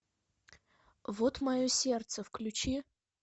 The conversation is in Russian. вот мое сердце включи